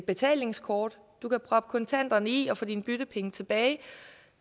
betalingskort du kan proppe kontanterne i og få dine byttepenge tilbage